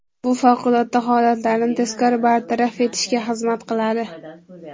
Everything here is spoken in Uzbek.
Bu favqulodda holatlarni tezkor bartaraf etishga xizmat qiladi.